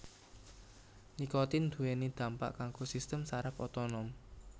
Nikotin nduwèni dampak kanggo sistem saraf otonom